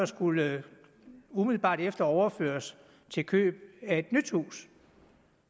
skulle umiddelbart efter overføres til køb af et nyt hus